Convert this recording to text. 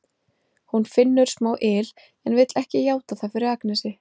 Hún finnur smá yl en vill ekki játa það fyrir Agnesi.